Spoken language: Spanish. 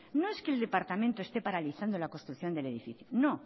no es que el departamento esté paralizando la construcción del edificio no